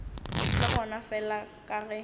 le gona fela ka ge